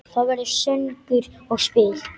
Það verður söngur og spil.